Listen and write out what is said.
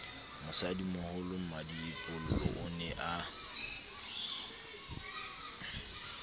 mosadimoholo mmadiepollo o ne a